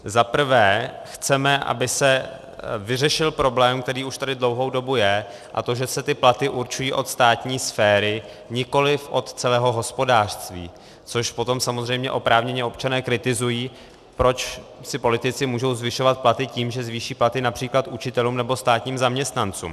Zaprvé chceme, aby se vyřešil problém, který už tady dlouhou dobu je, a to že se ty platy určují od státní sféry, nikoliv od celého hospodářství, což potom samozřejmě oprávněně občané kritizují, proč si politici mohou zvyšovat platy tím, že zvýší platy například učitelům nebo státním zaměstnancům.